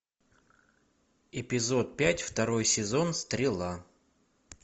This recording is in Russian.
эпизод пять второй сезон стрела